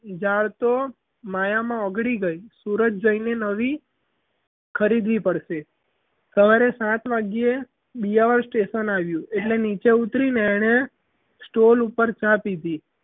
ઝાડ તો માયામાં ઓગળી ગઈ સુરત ગઈ ને નવી ખરીદવી પડશે સવારે સાત વાગ્યે દિયા ઓર station આવ્યું એટલે નીચે ઉતરીને એણે stol ઉપર ચા પીધી.